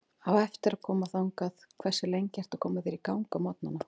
Á eftir að koma þangað Hversu lengi ertu að koma þér í gang á morgnanna?